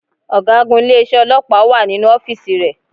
Ọ̀gágun ilé isé ọlọ́pàá wà nínú ọ́fíìsì rẹ